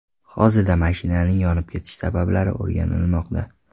Hozirda mashinaning yonib ketishi sabablari o‘rganilmoqda.